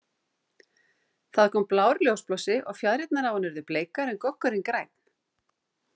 Það kom blár ljósblossi og fjaðrirnar á henni urðu bleikar en goggurinn grænn.